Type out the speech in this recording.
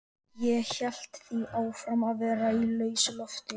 Ég hélt því áfram að vera í lausu lofti.